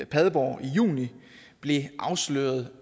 padborg i juni blev afsløret